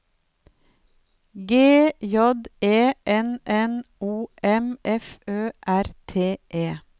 G J E N N O M F Ø R T E